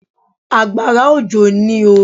Àgbàrá òjò ní oo.